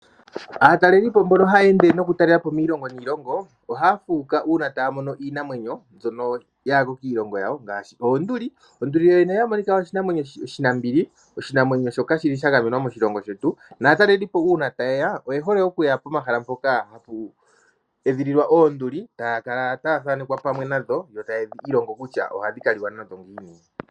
Aatalelipo mbono ha yeende noku talela po iilongo niilongo ,ohaa fuuka uuna taa mono iinamwenyo mbyono yaali kiilongo yawo ngaashi, oonduli. Onduli yo yene oya monika oshinamwenyo oshinambili. Oshinamwenyo shoka shili sha gamenwa moshilongo shetu , naatalelipo uuna ta yeya oye hole okuya komahala mpoka hapu edhililwa oonduli ,taa kala taya thanekwa pamwe nadho ,yo taye dhi ilongo kutya ohadhi ka liwa nadho ngiini.